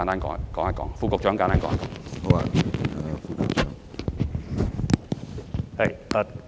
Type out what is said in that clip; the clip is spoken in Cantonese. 環境局副局長，請答覆。